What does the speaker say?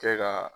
Kɛ ka